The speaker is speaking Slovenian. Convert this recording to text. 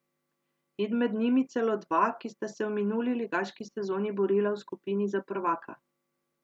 In med njimi celo dva, ki sta se v minuli ligaški sezoni borila v skupini za prvaka.